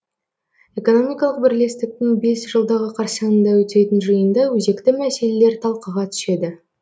экономикалық бірлестіктің бес жылдығы қарсаңында өтетін жиында өзекті мәселелер талқыға түседі